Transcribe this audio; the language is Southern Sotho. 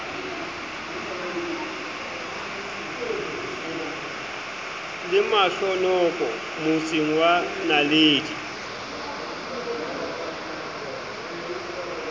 le mahlonoko motseng wa naledi